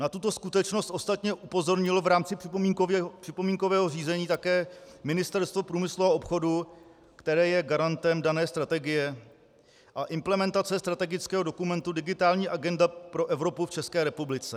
Na tuto skutečnost ostatně upozornilo v rámci připomínkového řízení také Ministerstvo průmyslu a obchodu, které je garantem dané strategie a implementace strategického dokumentu Digitální agenda pro Evropu v České republice.